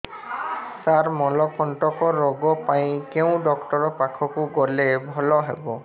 ସାର ମଳକଣ୍ଟକ ରୋଗ ପାଇଁ କେଉଁ ଡକ୍ଟର ପାଖକୁ ଗଲେ ଭଲ ହେବ